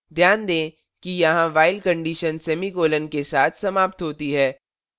ध्यान दें कि यहां while condition semicolon के साथ समाप्त होती है